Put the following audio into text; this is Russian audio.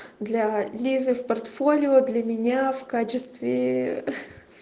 для лизы в портфолио для меня в качестве